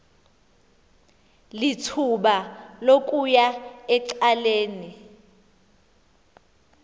lithuba lokuya ecaleni